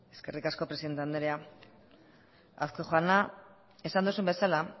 eskerrik asko presidente andrea azkue jauna esan duzun bezala